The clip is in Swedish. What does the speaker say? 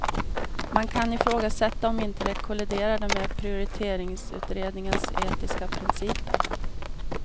Man kan ifrågasätta om inte det kolliderar med prioriteringsutredningens etiska principer.